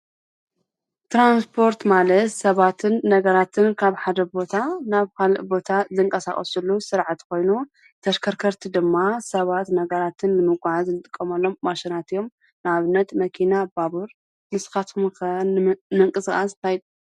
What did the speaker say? ትራንስፖርት ማለት ሰባትን ነገራትን ካብ ሓደ ቦታ ናብ ካሊእ ቦታ ዝንቀሳቀስሉ ስርዓት ኮይኑ ተሽከርከርቲ ድማ ሰባት ነገራትን ንምጉዓዝ እንጥቀመሎም ነገራት እዮም፡፡ ንኣብነት መኪና፣ ባቡር፣ ንስካትኩም ከ ንምቅስቃስ እንታይ ትጥቀሙ?